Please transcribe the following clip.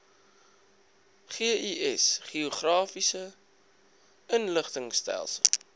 gis geografiese inligtingstelsel